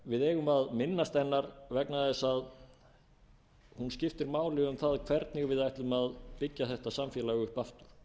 við eigum að minnast hennar vegna þess að hún skiptir máli um það hvernig við ætlum að byggja þetta samfélag upp aftur